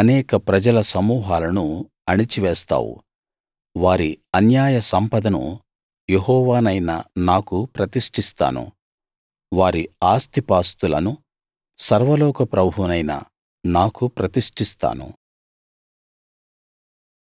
అనేక ప్రజల సమూహాలను అణిచేస్తావు వారి అన్యాయ సంపదను యెహోవానైన నాకు ప్రతిష్టిస్తాను వారి ఆస్తిపాస్తులను సర్వలోక ప్రభువునైన నాకు ప్రతిష్టిస్తాను